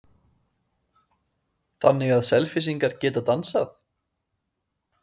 Magnús: Þannig að Selfyssingar geta dansað?